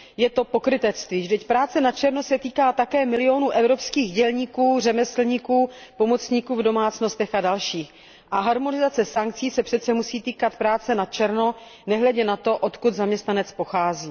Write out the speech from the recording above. Je to pokrytectví, vždyť práce na černo se týká také milionů evropských dělníků, řemeslníků, pomocníků v domácnostech a dalších a harmonizace sankcí se přece musí týkat práce na černo nehledě na to, odkud zaměstnanec pochází.